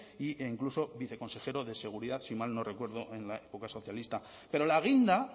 e incluso viceconsejero de seguridad si mal no recuerdo en la época socialista pero la guinda